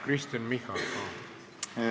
Kristen Michal, palun!